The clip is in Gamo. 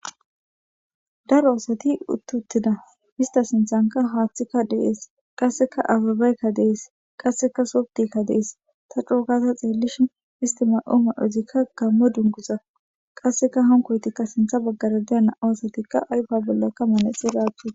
Daro asati uttuttina ista sinthanka haaththikka dees qasseka ababaykka dees qasseka sobdikka dees ta cuukata xeellishi istima'o ma'ozikka gammo dunguza qasseka hankoytikka sintha baggara deya na'oosatikka ayfa bollakka manexi raachi